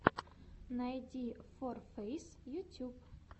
найди ворфэйс ютьюб